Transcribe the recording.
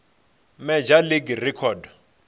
major league record